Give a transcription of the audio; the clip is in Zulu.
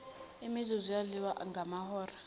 imizuzu yadliwa ngamahora